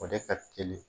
O de ka teli